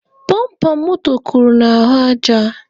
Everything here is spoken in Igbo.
Bọmpa moto kụrụ n'ahụ aja.